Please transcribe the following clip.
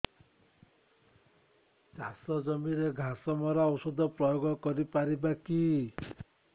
ଚାଷ ଜମିରେ ଘାସ ମରା ଔଷଧ ପ୍ରୟୋଗ କରି ପାରିବା କି